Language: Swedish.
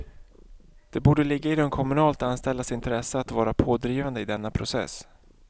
Det borde ligga i de kommunalt anställdas intresse att vara pådrivande i denna process.